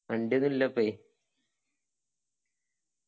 വണ്ടി ഒന്നും ഇല്ലപ്പേ